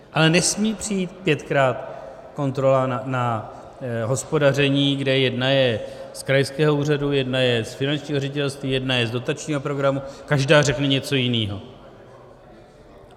Ale nesmí přijít pětkrát kontrola na hospodaření, kde jedna je z krajského úřadu, jedna je z Finančního ředitelství, jedna je z dotačního programu, každá řekne něco jiného.